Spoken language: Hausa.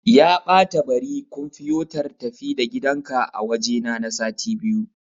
Ya ɓata bari kumfiyotar-tafi-da-gidanka a wajena na sati biyu.